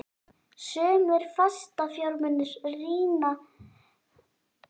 Sumir fastafjármunir rýrna í verði vegna aldurs og slits.